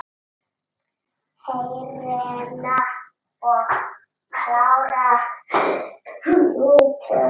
Hreina og klára mýtu?